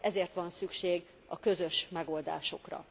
Ezért van szükség a közös megoldásokra.